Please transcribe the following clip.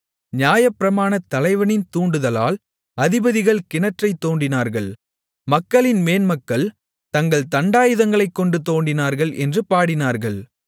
நியாயப்பிரமாணத் தலைவனின் தூண்டுதலால் அதிபதிகள் கிணற்றைத் தோண்டினார்கள் மக்களின் மேன்மக்கள் தங்கள் தண்டாயுதங்களைக்கொண்டு தோண்டினார்கள் என்று பாடினார்கள்